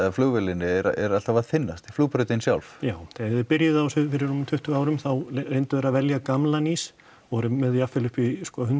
flugvélinni er alltaf að þynnast flugbrautin sjálf já þegar þeir byrjuðu á þessu fyrir rúmum tuttugu árum þá reyndu þeir að velja gamlan ís og voru með jafnvel upp í